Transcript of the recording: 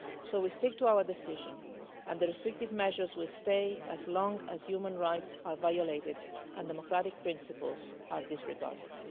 contrary. So we are sticking to our decision, and the restrictive measures will stay for as long as human rights are violated and democratic principles are disregarded.